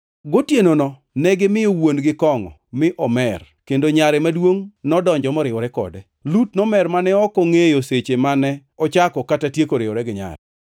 Gotienono negimiyo wuon-gi kongʼo mi omer, kendo nyare maduongʼ nodonjo moriwore kode. Lut nomer mane ok ongʼeyo seche mano ochako kata tieko riwore gi nyare.